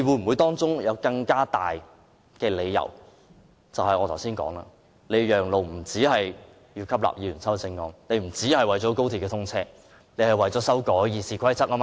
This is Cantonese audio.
會否有更大理由，那便是我剛才說的，讓路不僅是為了吸納議員的修正案，不僅是為了讓高鐵通車，而是為了修改《議事規則》，對嗎？